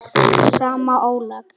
sama álag?